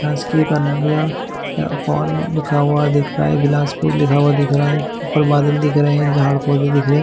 शासकीय कन्या पॉल लिखा हुआ दिख रहा है बलासपुर लिखा हुआ दिख रहा है ऊपर बादल दिख रहै है झाड़ पौधे दिख रहै है।